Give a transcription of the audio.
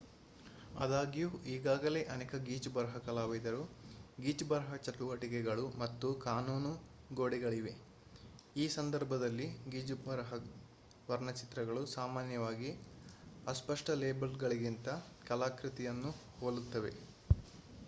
ಆದಾಗ್ಯೂ ಈಗಾಗಲೇ ಅನೇಕ ಗೀಚುಬರಹ ಕಲಾವಿದರು ಗೀಚುಬರಹ ಚಟುವಟಿಕೆಗಳು ಮತ್ತು ಕಾನೂನು ಗೋಡೆಗಳಿವೆ. ಈ ಸಂದರ್ಭದಲ್ಲಿ ಗೀಚುಬರಹ ವರ್ಣಚಿತ್ರಗಳು ಸಾಮಾನ್ಯವಾಗಿ ಅಸ್ಪಷ್ಟ ಲೇಬಲ್‌ಗಳಿಗಿಂತ ಕಲಾಕೃತಿಗಳನ್ನು ಹೋಲುತ್ತವೆ